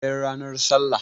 sai nranar sallah